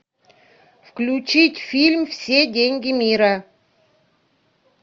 включить фильм все деньги мира